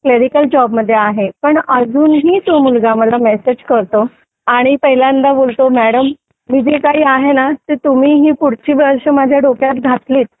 clerical job मध्ये आहे पण अजूनही तो मुलगा मला मेसेज करतो आणि पहिल्यांदा बोलतो मॅडम मी जे काही आहे ना ते तुम्हीही पुढची वर्ष मला माझ्या डोक्यात घातली